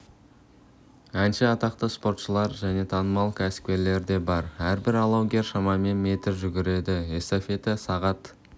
әнші атақты спортшылар және танымал кәсіпкерлер де бар әрбір алаугер шамамен метр жүгіреді эстафета сағат